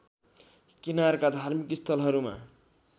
किनारका धार्मिक स्थलहरूमा